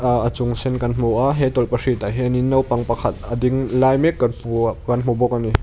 ahh a chung sen kan hmu a he tawlhpahrit ah hian in naupang pakhata ding lai mek kan kan hmu bawk a ni.